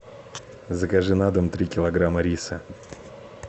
закажи на дом три килограмма риса